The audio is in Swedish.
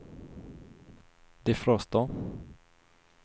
defroster